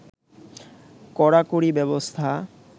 কড়াকড়ি ব্যবস্থা